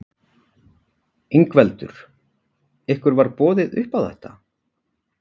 Ingveldur: Ykkur var boðið upp á þetta?